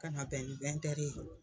Ka na bɛn ni ye.